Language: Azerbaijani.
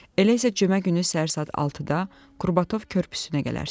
Elə isə cümə günü səhər saat 6-da Qurbatov körpüsünə gələrsiz.